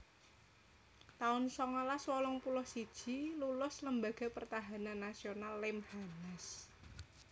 taun songolas wolung puluh siji Lulus Lembaga Pertahanan Nasional Lemhanas